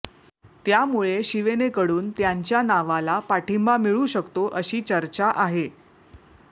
त्यामुळे शिवेनेकडून त्यांच्या नावाला पाठिंबा मिळू शकतो अशी चर्चा आहे